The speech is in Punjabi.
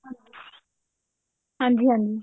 ਹਾਂਜੀ ਹਾਂਜੀ